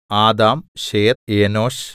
Adam Seth Enosh